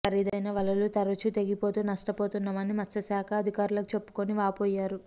ఖరీదైన వలలు తరచు తెగిపోతూ నష్టపోతున్నామని మత్స్యశాఖ అధికారులకు చెప్పుకుని వాపోయారు